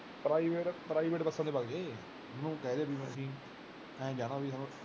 private ਬੱਸਾਂ ਵਿਚ ਬਗਜੇ ਉਹਨੂੰ ਕਹਿੰਦੇ ਵੀਰ ਬਣਕੇ ਏ ਜਾਣਾ ਵੀ ਤੁਹਾਨੇ